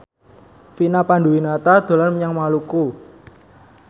Vina Panduwinata dolan menyang Maluku